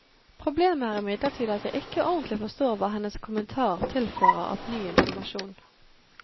Problemet er imidlertid at jeg ikke ordentlig forstår hva hennes kommentar tilfører av ny informasjon.